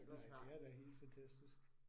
Nej, det er da helt fantastisk